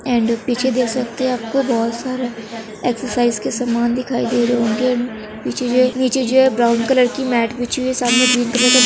and पीछे देख सकते हैं आप को बहुत सारे एक्सरसाइज के सामान दिखाई दे रहे होंगे पीछे जो है नीचे जो है ब्राउन कलर की मेट बिछी हुई है सामने ग्रीन कलर का--